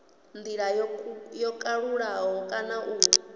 ndila yo kalulaho kana u